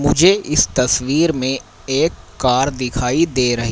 मुझे इस तस्वीर में एक कार दिखाई दे र--